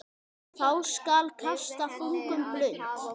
Þá skal kasta þungum blund.